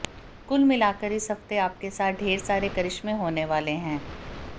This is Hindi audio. कुल मिलाकर इस हफ्ते आपके साथ ढेर सारे करिश्में हाेने वाले हैं